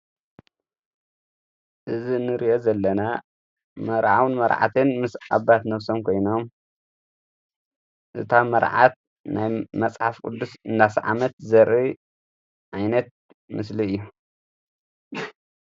እዚ ንርኦ ዘለና መርዓውን መርዓትን ምስ ዓባት ነፍሰም ኮይኖ እታ መርዓት ናይ መጽሓፍ ቅዱስ እናሰ ዓመት ዘሪ ኣይነት ምስሊ እዩ::